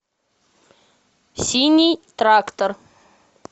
синий трактор